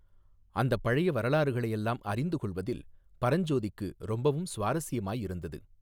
அந்தப் பழைய வரலாறுகளையெல்லாம் அறிந்து கொள்ளுவதில் பரஞ்சோதிக்கு ரொம்பவும் சுவாரஸ்யமாயிருந்தது.